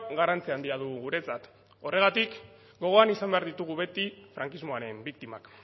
garrantzi handia du guretzat horregatik gogoan izan behar ditugu beti frankismoaren biktimak